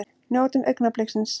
Njótum augnabliksins!